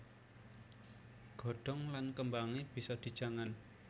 Godhong lan kembangé bisa dijangan